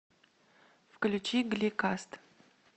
включи гли каст